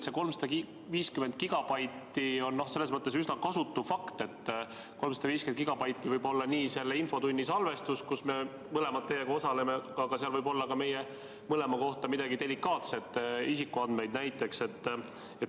See 350 gigabaiti on selles mõttes üsna kasutu fakt, et 350 gigabaiti võib olla nii selle infotunni salvestus, kus me mõlemad osaleme, aga seal võib olla ka näiteks meie mõlema mingeid delikaatseid isikuandmeid.